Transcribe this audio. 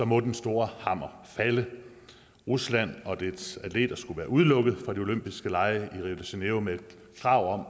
må den store hammer falde rusland og dets atleter skulle være udelukket fra de olympiske lege i rio de janeiro med krav om at